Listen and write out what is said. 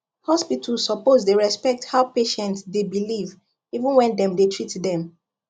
hospital suppose dey respect how patient dey believe even when dem dey treat dem